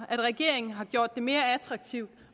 at regeringen har gjort det mere attraktivt